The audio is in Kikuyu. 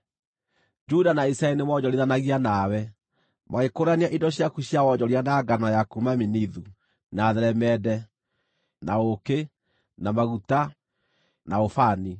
“ ‘Juda na Isiraeli nĩmoonjorithanagia nawe; magĩkũũrania indo ciaku cia wonjoria na ngano ya kuuma Minithu, na theremende, na ũũkĩ, na maguta, na ũbani.